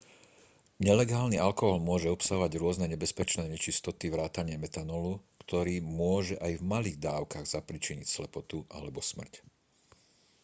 nelegálny alkohol môže obsahovať rôzne nebezpečné nečistoty vrátane metanolu ktorý môže aj v malých dávkach zapríčiniť slepotu alebo smrť